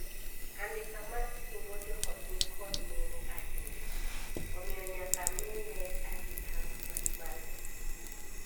Andika mar singo joot ni kod nengo ahinya, omiyo nyaka miye arita ma mamalo.